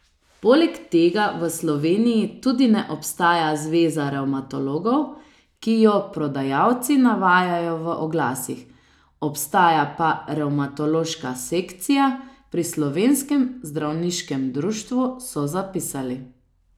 Poleg tega v Sloveniji tudi ne obstaja Zveza revmatologov, ki jo prodajalci navajajo v oglasih, obstaja pa Revmatološka sekcija pri Slovenskem zdravniškem društvu, so zapisali.